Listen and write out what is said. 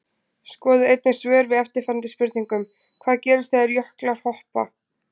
Skoðið einnig svör við eftirfarandi spurningum Hvað gerist þegar jöklar hopa?